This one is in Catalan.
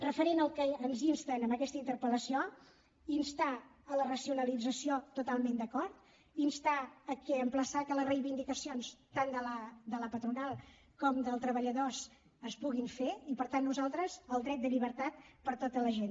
referent al que ens insten en aquesta interpel·lació instar la racionalització totalment d’acord instar a emplaçar que les reivindicacions tant de la patronal com dels treballadors es puguin fer i per tant nosaltres el dret de llibertat per a tota la gent